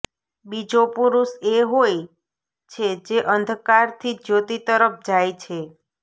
બીજો પુરુષ એ હોય છે જે અંધકારથી જ્યોતિ તરફ જાય છે